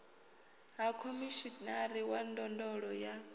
ha khomishinari wa ndondolo ya